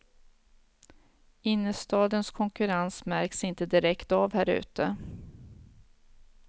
Innerstadens konkurrens märks inte direkt av här ute.